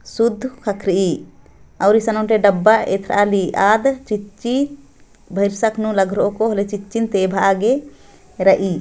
सोढ्ह हथरी और इस इनोटे डब्बा ऐथराली आद चीची भेरसक्नो लागरो को कॉलेज ई चिन्ते भागे रई।